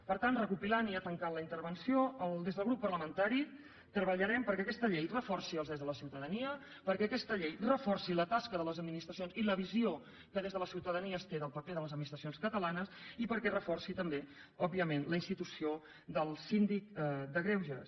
per tant recopilant i ja tancant la intervenció des del grup parlamentari treballarem perquè aquesta llei reforci els drets de la ciutadania perquè aquesta llei reforci la tasca de les administracions i la visió que des de la ciutadania es té del paper de les administracions catalanes i perquè es reforci també òbviament la institució del síndic de greuges